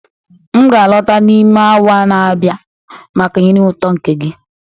m ga-alọta n'ime awa na-abịa maka nri ụtọ nke gị